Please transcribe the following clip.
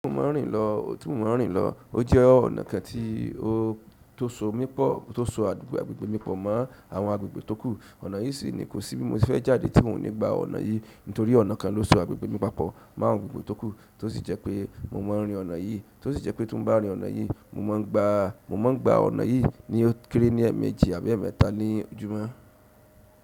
Tí mò ń rìn lọ, ó jẹ́ ọ̀nà kan tí ó tó so mí pọ̀, tó so agbègbè mí pọ̀ mọ́ àwọn agbègbè tókù. Ọ̀nà yìí sì ni kò sí bí mo ti fẹ́ jáde tí mò ń gbà ọ̀nà yìí, nítorí ọ̀nà kan ló so agbègbè mi papọ̀ mọ́ agbègbè tókù tó sì jẹ́ pé mo máa ń rín ọ̀nà yìí. Tó sì jẹ́ pé tó bá rìn ọ̀nà yìí, mo máa ń gba ọ̀nà yìí ní ó kéré ní èèmejì àbí èẹ́mẹta ní ojúmọ́.